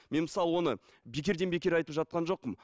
мен мысалы оны бекерден бекер айтып жатқан жоқпын